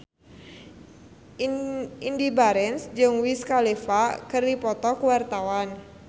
Indy Barens jeung Wiz Khalifa keur dipoto ku wartawan